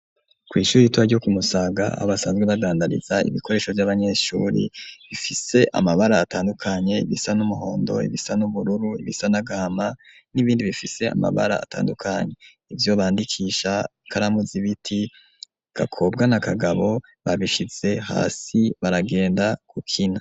Kw'ishuri ritoya ryo ku Musaga aho basanzwe badandariza ibikoresho vy'abanyeshuri bifise amabara atandukanye, ibisa n'umuhondo, ibisa n'ubururu, ibisa n'agahama, n'ibindi bifise amabara atandukanye, ivyo bandikisha, ikaramu z'ibiti, Gakobwa na Kagabo babishize hasi baragenda gukina.